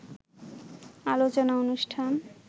আলোচনা অনুষ্ঠান।